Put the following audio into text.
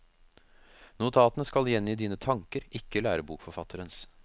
Notatene skal gjengi dine tanker, ikke lærebokforfatterens.